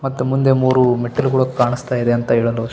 ಮತ್ತ್ ಮುಂದೆ ಮೂರು ಮೆಟ್ಟಲುಗಳು ಕಾಣಿಸ್ತಾಯಿದೆ ಅಂತ ಹೇಳಲು ಇ --